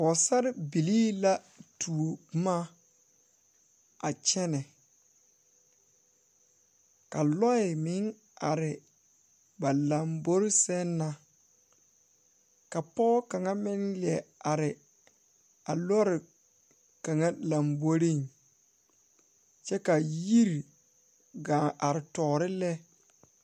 Pɔɔsarebilii la tuo bomma a kyɛnɛ ka lɔɛ meŋ are ba lambore sɛŋ na ka pɔɔ kaŋa meŋ lie are a lɔre kaŋa lamboreŋ kyɛ ka yiri gaa are toore lɛ.